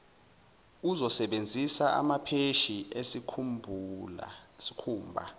uzosebenzisa amapheshi esikhumba